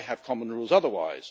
Why have common rules otherwise?